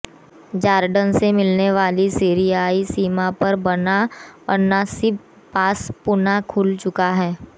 Jordan से मिलने वाली सीरियाई सीमा पर बना अन्नसीब पास पुनः खुल चुका है